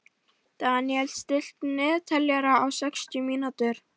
Daniel, stilltu niðurteljara á sextíu mínútur.